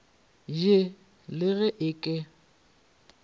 je le ge e ka